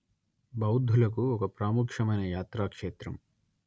బౌద్ధులకు ఒక ప్రాముఖ్యమైన యాత్రాక్షేత్రం